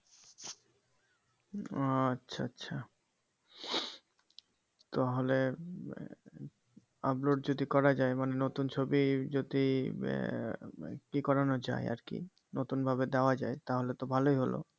ও আচ্ছা আচ্ছা তাহলে upload যদি করা যাই মানে নতুন ছবি যদি আহ ই করানো যাই আরকি নতুন ভাবে দেওয়া যাই তাহলে তো ভালোই হলো